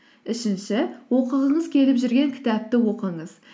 үшінші оқығыңыз келіп жүрген кітапты оқыңыз